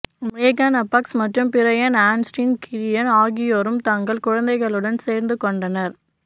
மேகன் ஃபாக்ஸ் மற்றும் Brian Austin Green ஆகியோரும் தங்கள் குழந்தைகளுடன் சேர்ந்து கொண்டனர்